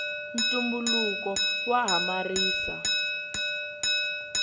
ntumbuluko wa hamarisa